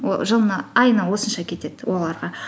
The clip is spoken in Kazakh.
айына осынша кетеді оларға